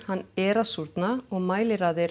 hann er að súrna og